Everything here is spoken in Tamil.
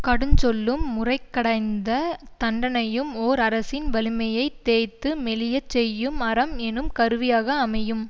கடுஞ்சொல்லும் முறைகடந்த தண்டனையும் ஓர் அரசின் வலிமையைத் தேய்த்து மெலியச் செய்யும் அரம் எனும் கருவியாக அமையும்